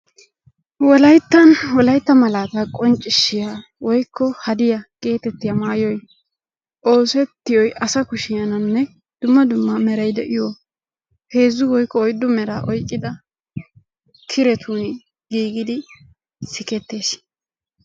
Wolayttan wolaytta malaatta qonccissiya woykko haddiyaa getettiyaa maayoyi oosettiyoy asa kushshennanne dumma dumma meraay de'iyoo heezzu woyikko oyiddu meraa oyqqidda kirettuni giiggidi sikettes.